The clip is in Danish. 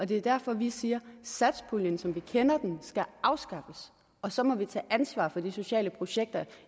det er derfor vi siger at satspuljen som vi kender den skal afskaffes og så må vi tage ansvar for de sociale projekter